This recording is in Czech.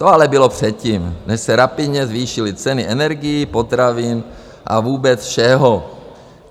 To ale bylo předtím, než se rapidně zvýšily ceny energií, potravin a vůbec všeho.